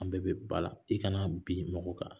An bɛɛ bɛ ba la, i kana bin mɔgɔw kan.